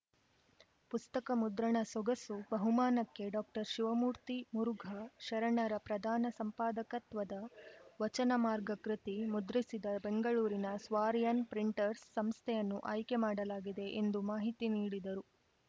ಪುಸ್ತಕ ಮುದ್ರಣ ಸೊಗಸು ಬಹುಮಾನಕ್ಕೆ ಡಾಕ್ಟರ್ ಶಿವಮೂರ್ತಿ ಮುರುಘಾ ಶರಣರ ಪ್ರಧಾನ ಸಂಪಾದಕತ್ವದ ವಚನ ಮಾರ್ಗ ಕೃತಿ ಮುದ್ರಿಸಿದ ರಂಗಳೂರಿನ ಸ್ವಾರಿಯಾನ್ ಪ್ರಿಂಟರ್ಸ್ ಸಂಸ್ಥೆಯನ್ನು ಆಯ್ಕೆ ಮಾಡಲಾಗಿದೆ ಎಂದು ಮಾಹಿತಿ ನೀಡಿದರು